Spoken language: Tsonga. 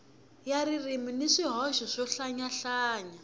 ya ririmi ni swihoxo swohlayanyana